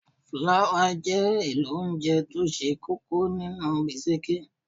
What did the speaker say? Fláwà jẹ́ èlò óńjẹ tó ṣe kókó nínú bisikí.